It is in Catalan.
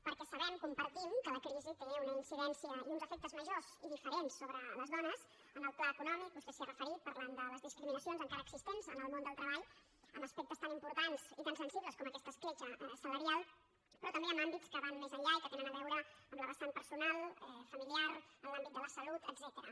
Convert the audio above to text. perquè sabem compartim que la crisi té una incidència i uns efectes majors i diferents sobre les dones en el pla econòmic vostè s’hi ha referit parlant de les discriminacions encara existents en el món del treball en aspectes tan importants i tan sensibles com aquesta escletxa salarial però també en àmbits que van més enllà i que tenen a veure amb la vessant personal familiar en l’àmbit de la salut etcètera